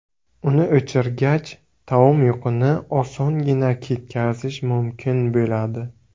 Uni o‘chirgach, taom yuqini osongina ketkazish mumkin bo‘ladi.